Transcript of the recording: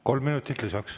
Kolm minutit lisaks.